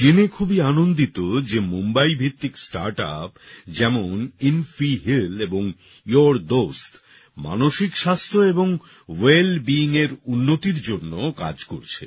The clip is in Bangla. আমি জেনে খুবই আনন্দিত যে মুম্বাইভিত্তিক স্টার্টআপ যেমন ইনফি হিল এবং ইউর ডস্ট মানসিক স্বাস্থ্য এবং ভেল beingএর উন্নতির জন্য কাজ করছে